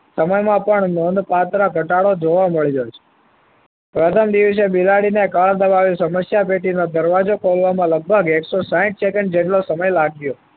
સમયમાં પણ નોંધપાત્ર ઘટાડો જોવા મળી રહ્યો છે. પ્રથમ દિવસે બિલાડી ને કળ દબાવી સમસ્યા પેટીનો દરવાજો ખોલવામાં લગભગ એક સો સાહીંઠ સેકન્ડ જેટલો સમય લાગ્યો